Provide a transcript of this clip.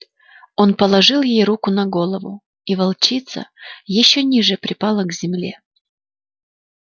он положил ей руку на голову и волчица ещё ниже припала к земле